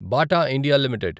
Bata India limited